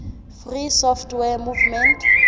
free software movement